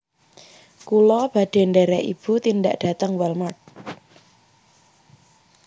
Kula badhe nderek ibu tindak dateng Wal mart